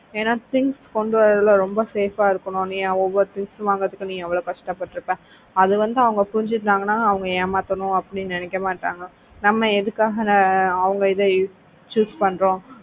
ஏன்னா things கொண்டு வரதுல ரொம்ப safe ஆ இருக்கணும் நீ ஒவ்வொரு things வாங்குறதுக்கு நீ எவ்வளவு கஷ்டப்பட்டு இருப்ப அது வந்து அவங்க புரிஞ்சுகிட்டாங்கன்னா அவங்க ஏமாத்தணு அப்படின்னு நினைக்க மாட்டாங்க நம்ம எதுக்காக ஆஹ் அவங்க இதை choose பண்றோம்.